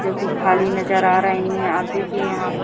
जो कि खाली नजर आ रहीं है आप देखिए यहां प --